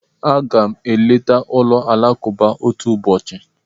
Aga m eleta ụlọ alakụba otu ụbọchị.